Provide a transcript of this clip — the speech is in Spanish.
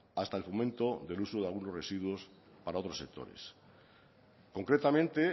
hasta el fomento del uso de algunos residuos para otros sectores concretamente